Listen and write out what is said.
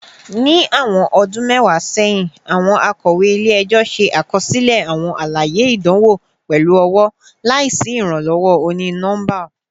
Ni awọn ọdun mẹwa sẹhin, awọn akọwe ile-ẹjọ ṣe akọsilẹ awọn alaye idanwo pẹlu ọwọ, laisi iranlọwọ oni-nọmba